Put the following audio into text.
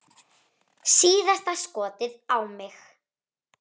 Síðasta skotið á mig.